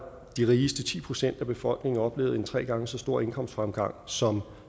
de rigeste ti procent af befolkningen oplevet en tre gange så stor indkomstfremgang som